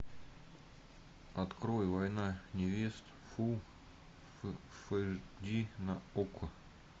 открой война невест фул эйч ди на окко